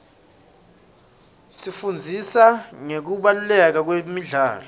sifundziswa ngekubaluleka kwemidlalo